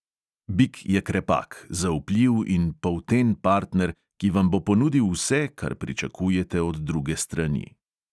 Bik je krepak, zaupljiv in polten partner, ki vam bo ponudil vse, kar pričakujete od druge strani.